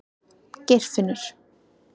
Geirfinnur